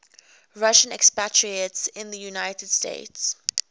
russian expatriates in the united states